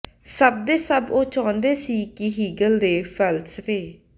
ਸਭ ਦੇ ਸਭ ਉਹ ਚਾਹੁੰਦਾ ਸੀ ਕਿ ਹੀਗਲ ਦੇ ਫ਼ਲਸਫ਼ੇ